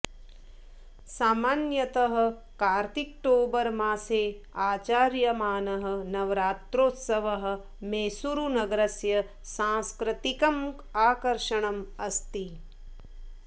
सामान्यतः कार्तिकटोबर् मासे आचर्यमानः नवरात्रोत्सवः मैसूरुनगरस्य सांस्कृतिकम् आकर्षणम् अस्ति